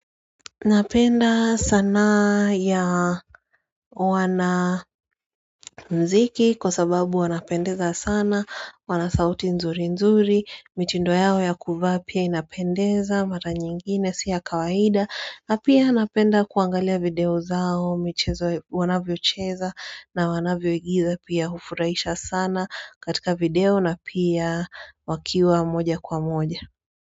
Napenda sanaa ya wana muziki kwa sababu wanapendeza sana, wanasauti nzuri nzuri, mitindo yao ya kuvaa pia inapendeza, mara nyingine siya kawaida, napia napenda kuangalia video zao, wanavyo cheza na wanavyo igiza pia hufurahisha sana katika video na pia wakiwa moja kwa moja.